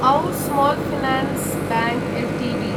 औ small finance bank Ltd